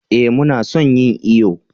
eh mu na son yin iyo